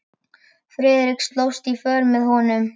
Friðrik slóst í för með honum.